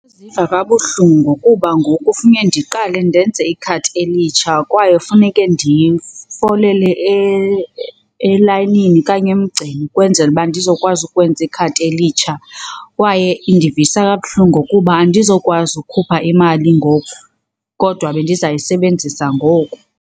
Ndiziva kabuhlungu kuba ngoku funeke ndiqale ndenze ikhadi elitsha kwaye kufuneke ndifolele elayinini okanye emgceni kwezenzele uba ndizokwazi ukwenza ikhadi elitsha. Kwaye indivisa kabuhlungu kuba andizokwazi ukhupha imali ngoku kodwa bendizayisebenzisa ngoku.